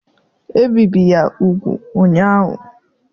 Ebibi ya úgwù ụnyahụ.